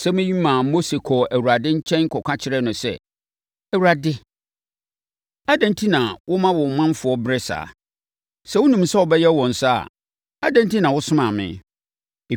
Asɛm yi maa Mose kɔɔ Awurade nkyɛn kɔka kyerɛɛ no sɛ, “ Awurade, adɛn enti na woma wo manfoɔ brɛ saa? Sɛ wonim sɛ wobɛyɛ wɔn saa a, adɛn enti na wosomaa me?